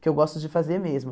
que eu gosto de fazer mesmo.